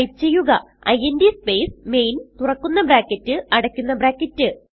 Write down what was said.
type ചെയ്യുക int space main തുറക്കുന്ന bracket അടയ്ക്കുന്ന ബ്രാക്കറ്റ്